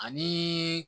Ani